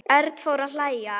Örn fór að hlæja.